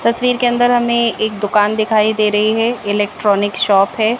तस्वीर के अंदर हमे एक दुकान दिखाई दे रही है इलेक्ट्रॉनिक शॉप है।